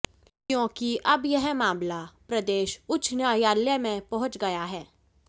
क्योेंकि अब यह मामला प्रदेश उच्च न्यायालय में पहुंच गया है